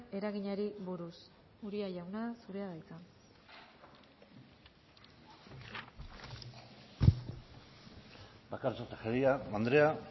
eraginari buruz uria jauna zurea da hitza bakartxo tejeria andrea